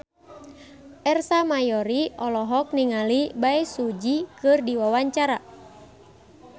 Ersa Mayori olohok ningali Bae Su Ji keur diwawancara